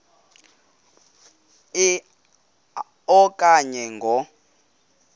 a okanye ngo